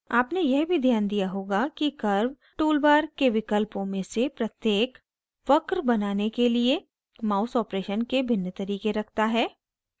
आपने यह भी ध्यान दिया होगा कि curve टूल बार के विकल्पों में से प्रत्येक वक्र बनाने के लिए mouse operation के भिन्न तरीके रखता है